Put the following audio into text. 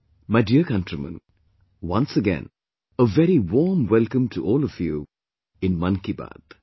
My dear Countrymen, once again a very warm welcome to all of you in Mann Ki Baat